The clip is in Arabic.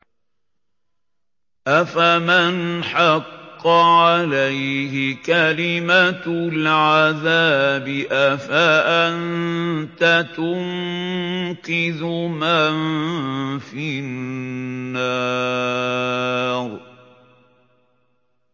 أَفَمَنْ حَقَّ عَلَيْهِ كَلِمَةُ الْعَذَابِ أَفَأَنتَ تُنقِذُ مَن فِي النَّارِ